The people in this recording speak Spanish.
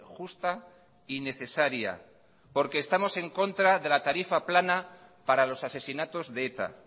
justa y necesaria porque estamos en contra de la tarifa plana para los asesinatos de eta